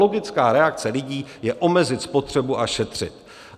Logická reakce lidí je omezit spotřebu a šetřit.